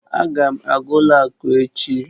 Aga m aga ụlọ akụ echi